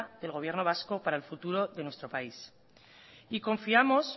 del gobierno vasco para el futuro de nuestro país y confiamos